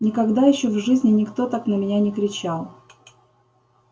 никогда ещё в жизни никто так на меня не кричал